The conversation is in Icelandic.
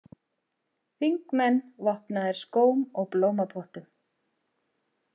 Þingmenn vopnaðir skóm og blómapottum